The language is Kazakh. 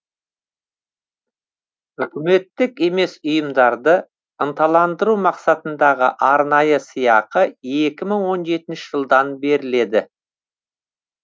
үкіметтік емес ұйымдарды ынталандыру мақсатындағы арнайы сыйақы екі мың он жетінші жылдан беріледі